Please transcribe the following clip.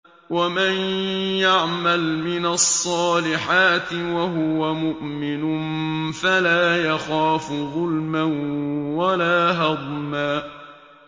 وَمَن يَعْمَلْ مِنَ الصَّالِحَاتِ وَهُوَ مُؤْمِنٌ فَلَا يَخَافُ ظُلْمًا وَلَا هَضْمًا